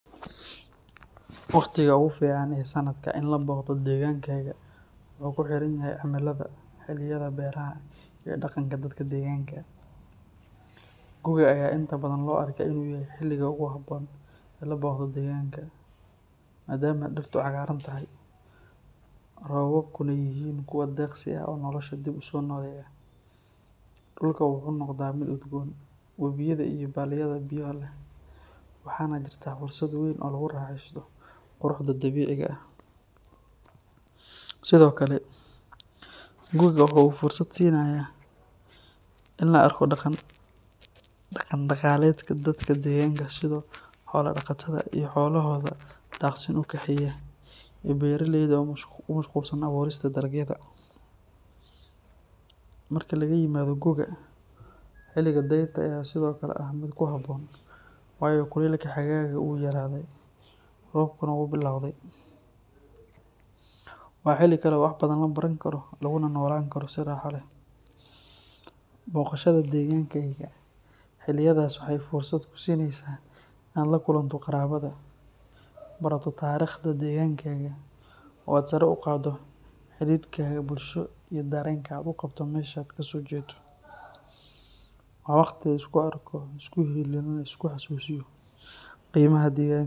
Waqtiga ugu fiican ee sannadka in la booqdo deegaankaaga wuxuu ku xiran yahay cimilada, xilliyada beeraha, iyo dhaqanka dadka deegaanka. Gu’ga ayaa inta badan loo arkaa inuu yahay xilliga ugu habboon ee la booqdo deegaanka, maadaama dhirtu cagaar tahay, roobabkuna yihiin kuwo deeqsi ah oo nolosha dib u soo nooleeya. Dhulka wuxuu noqdaa mid udgoon, wabiyada iyo balliyada biyo leh, waxaana jirta fursad weyn oo lagu raaxeysto quruxda dabiiciga ah. Sidoo kale, gu’ga waxa uu fursad siinayaa in la arko dhaqan-dhaqaaleedka dadka deegaanka sida xoolo-dhaqatada oo xoolahooda daaqsin u kaxeeya, iyo beeralayda oo ku mashquulsan abuurista dalagyada. Marka laga yimaado gu’ga, xilliga dayrta ayaa sidoo kale ah mid ku habboon, waayo kulaylka xagaaga wuu yaraaday, roobkuna wuu billowday. Waa xilli kale oo wax badan la baran karo laguna noolaan karo si raaxo leh. Booqashada deegaankaaga xilliyadaas waxay fursad kuu siinaysaa inaad la kulanto qaraabada, barato taariikhda deegaankaaga, oo aad sare u qaaddo xidhiidhkaaga bulsho iyo dareenka aad u qabto meeshaad ka soo jeedo. Waa waqti la isku arko, la isu hiiliyo, lana is xasuusiyo qiimaha deegaanka.